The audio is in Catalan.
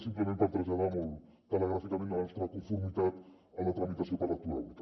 simplement per traslladar molt telegràficament la nostra conformitat a la tramitació per lectura única